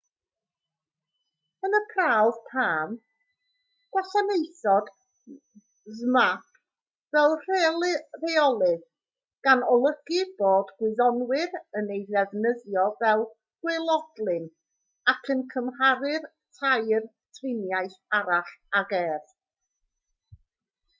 yn y prawf palm gwasanaethodd zmapp fel rheolydd gan olygu bod gwyddonwyr yn ei ddefnyddio fel gwaelodlin ac yn cymharu'r tair triniaeth arall ag ef